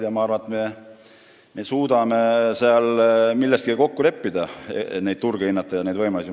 Ja ma arvan, et me suudame seal milleski kokku leppida, hinnata neid turge ja võimalusi.